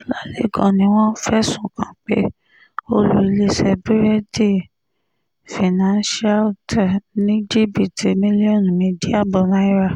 ọ̀làlẹ́kan ni wọ́n fẹ̀sùn kàn pé ó lu iléeṣẹ́ búrẹ́ẹ̀dì financial te ní jìbìtì mílíọ̀nù méjì ààbọ̀ náírà